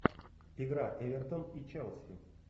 игра эвертон и челси